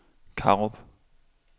Karup